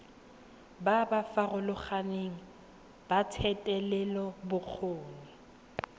ba ba farologaneng ba thetelelobokgoni